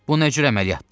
Bu nə cür əməliyyatdır?